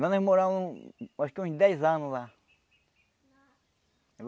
Nós morávamos acho que uns dez anos lá.